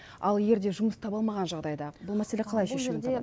ал егерде жұмыс таба алмаған жағдайда бұл мәселе қалай шешімін табады